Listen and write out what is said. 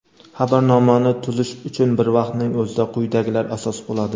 Xabarnomani tuzish uchun bir vaqtning o‘zida quyidagilar asos bo‘ladi:.